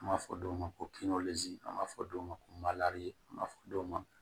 An b'a fɔ dɔw ma ko an b'a fɔ dɔw ma ko an b'a fɔ dɔw ma